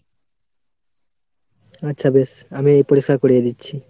আচ্ছা বেশ আমি পরিষ্কার করিয়ে দিচ্ছি।